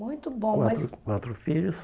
Muito bom, mas... Quatro, quatro filhos.